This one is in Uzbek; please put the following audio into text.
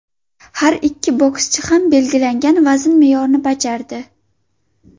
Har ikki bokschi ham belgilangan vazn me’yorini bajardi.